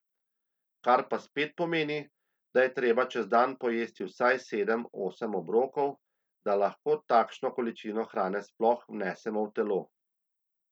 Kar pa spet pomeni, da je treba čez dan pojesti vsaj sedem, osem obrokov, da lahko takšno količino hrane sploh vnesemo v telo.